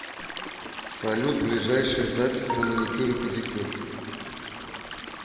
салют ближайшая запись на маникюр и педикюр